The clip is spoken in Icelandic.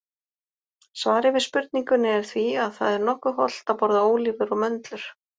Svarið við spurningunni er því að það er nokkuð hollt að borða ólívur og möndlur.